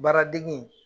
Baaradege